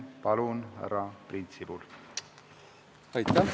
Palun, härra Priit Sibul!